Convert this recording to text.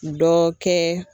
Dɔ kɛ